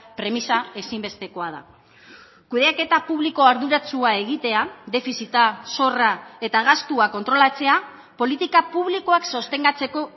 premisa ezinbestekoa da kudeaketa publiko arduratsua egitea defizita zorra eta gastua kontrolatzea politika publikoak sostengatzeko